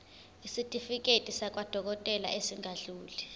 isitifiketi sakwadokodela esingadluli